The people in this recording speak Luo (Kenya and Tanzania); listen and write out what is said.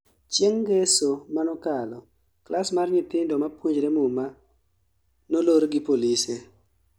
chieng' ngeso manokalo ,klas mar nyithindo mapuonjre muma nolor gi polise